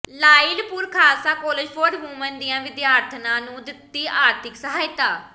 Lyallpur Khalsa college for women ਦੀਆਂ ਵਿਦਿਆਰਥਣਾਂ ਨੂੰ ਦਿੱਤੀ ਆਰਥਿਕ ਸਹਾਇਤਾ